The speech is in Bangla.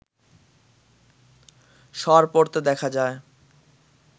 সর পড়তে দেখা যায়